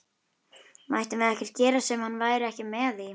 Mættum við ekkert gera sem hann væri ekki með í?